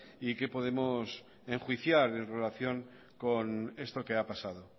y qué podemos enjuiciar en relación con esto que ha pasado